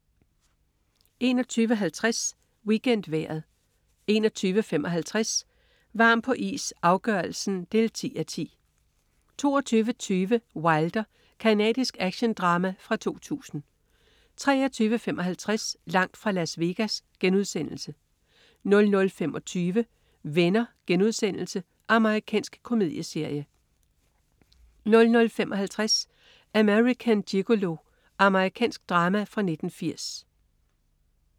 21.50 WeekendVejret 21.55 Varm på is, afgørelsen 10:10 22.20 Wilder. Canadisk actiondrama fra 2000 23.55 Langt fra Las Vegas* 00.25 Venner.* Amerikansk komedieserie 00.55 American Gigolo. Amerikansk drama fra 1980